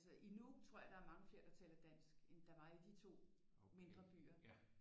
Altså i Nuuk tror jeg der er mange flere der taler dansk end der var i de to mindre byer